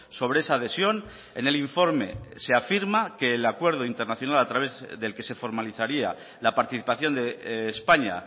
sobre esa adhesión en el informe se afirma que el acuerdo internacional a través del que se formalizaría la participación de españa